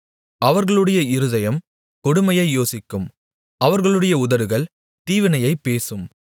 அவர்களுடைய இருதயம் கொடுமையை யோசிக்கும் அவர்களுடைய உதடுகள் தீவினையைப் பேசும்